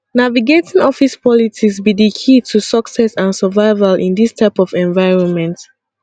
navigating office politics be di key to success and survival in dis type of environment